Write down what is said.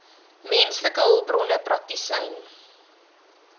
menslike hulpbronne praktisyn